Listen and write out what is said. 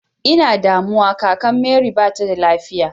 I na a damuwa kakan mary ba ta da lafiya.